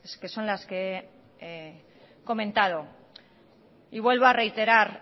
que son las que he comentado y vuelvo a reiterar